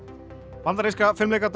bandaríska